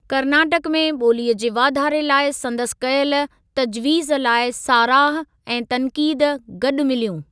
कर्नाटक में बो॒लीअ जे वाधारे लाइ संदसि कयल तजवीज़ लाइ साराह ऐं तन्क़ीद गॾु मिलियूं।